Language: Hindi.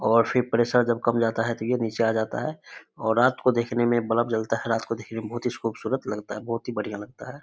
और फिर प्रेसर जब कम जाता है तो ये नीचे आ जाता है और रात को देखने मे बल्ब जलता है रात को देखने मे बहुत ही खूबसूरत लगता है बढ़िया लगता है।